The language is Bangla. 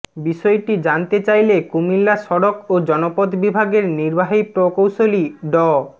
বিষয়টি জানতে চাইলে কুমিল্লা সড়ক ও জনপথ বিভাগের নির্বাহী প্রকৌশলী ড